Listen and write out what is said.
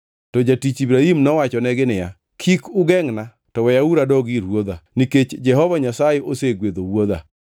To jatich Ibrahim nowachonegi niya, “Kik ugengʼna, to weyauru adog ir ruodha, nikech Jehova Nyasaye osegwedho wuodha.”